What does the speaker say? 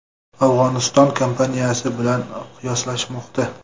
Afg‘oniston kampaniyasi bilan qiyoslashmoqda.